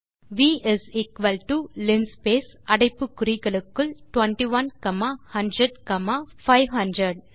we is equal to linspace அடைப்பு குறிகளுக்குள் 21 comma 100 comma 500